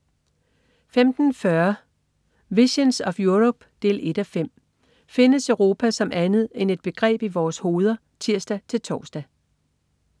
15.40 Visions of Europe 1:5 Findes Europa som andet end et begreb i vores hoveder? (tirs-tors)